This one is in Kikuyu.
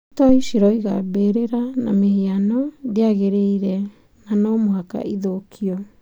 Itoi ciroiga mbĩrĩra na mĩhiano ndĩagĩrĩire na no mũhaka ĩthũkio.